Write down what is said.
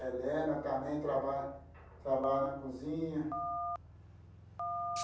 Helena também trabalha trabalha na cozinha.